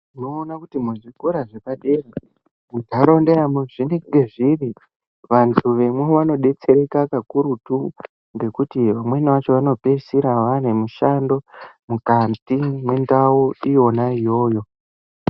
Tinoona kuti zvikora zvepadera ,munharaunda dzazvinenge zviri vanhu vemwi vanodetsereka kakurutu ngekuti vamweni acho vanopedzisira vave nemishando mukati mendau iyona iyoyo